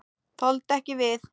Þoldu ekki við.